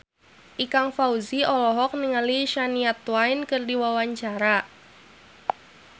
Ikang Fawzi olohok ningali Shania Twain keur diwawancara